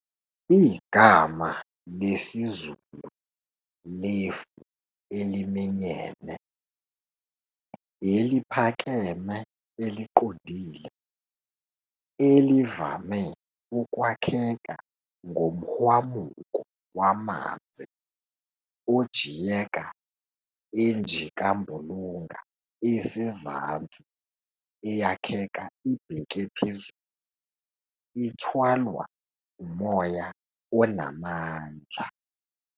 igama lesiZulu lefu eliminyene, eliphakeme eliqondile, elivame ukwakheka ngomhwamuko wamanzi ojiyeka enjikambulunga esezansi eyakheka ibheke phezulu ithwalwa umoya onamandla.